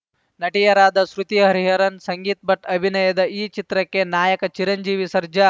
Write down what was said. ನಟಿಯರಾದ ಶ್ರುತಿ ಹರಿಹರನ್‌ ಸಂಗೀತ್ ಭಟ್‌ ಅಭಿನಯದ ಈ ಚಿತ್ರಕ್ಕೆ ನಾಯಕ ಚಿರಂಜೀವಿ ಸರ್ಜಾ